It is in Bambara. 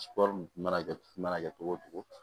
mana kɛ mana kɛ cogo o cogo